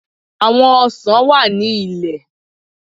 À̀wọn ọsàn wà ní ilẹ.